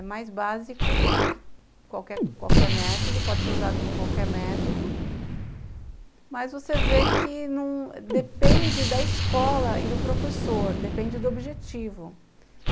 É mais básico do que qualquer qualquer método, pode ser usado com qualquer método, mas você vê que, não depende da escola e do professor, depende do objetivo.